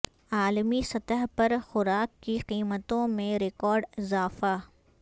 عالمی سطح پر خوراک کی قیمتوں میں ریکارڈ اضافہ